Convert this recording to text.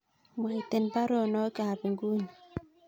Mwaten baruonok ab inguni